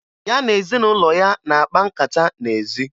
Ya na ezinụlọ ya na-akpa nkata n'ezi